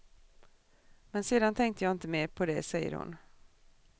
Men sedan tänkte jag inte mer på det, säger hon.